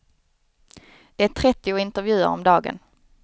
Det är trettio intervjuer om dagen.